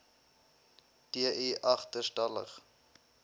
d i agterstallig